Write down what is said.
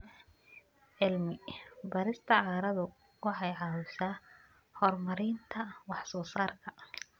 Cilmi-baarista carradu waxay caawisaa horumarinta wax-soo-saarka.